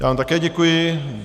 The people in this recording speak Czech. Já vám také děkuji.